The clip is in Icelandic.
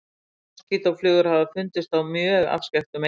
Moskítóflugur hafa fundist á mjög afskekktum eyjum.